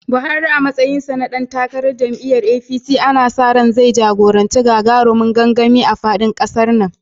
Buhari a matsayinsa na dan takarar jam’iyyar APC, ana sa ran zai jagoranci gagarumin gangami a faɗin ƙasar nan.